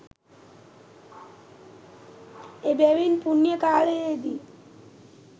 එබැවින් පුණ්‍ය කාලයේදී